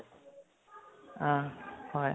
অহ হয়